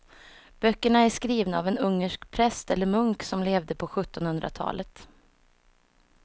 Böckerna är skrivna av en ungersk präst eller munk som levde på sjuttonhundratalet.